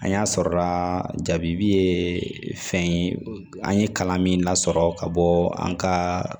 An y'a sɔrɔla jabi ye fɛn ye an ye kalan min lasɔrɔ ka bɔ an ka